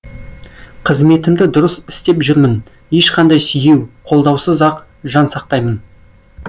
қызметімді дұрыс істеп жүрмін ешқандай сүйеу қолдаусыз ақ жан сақтаймын